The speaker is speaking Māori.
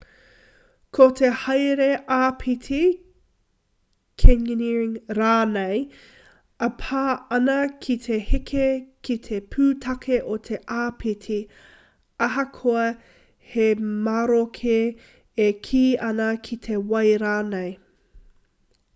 ko te haere āpiti canyoneering rānei e pā ana ki te heke ki te pūtake o te āpiti ahakoa he maroke e kī ana ki te wai rānei